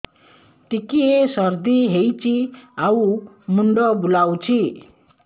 ଟିକିଏ ସର୍ଦ୍ଦି ହେଇଚି ଆଉ ମୁଣ୍ଡ ବୁଲାଉଛି